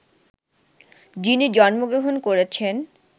যিনি জন্মগ্রহণ করেছেন